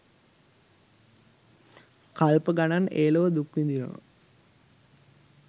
කල්ප ගණන් ඒ ලොව දුක් විඳිනවා.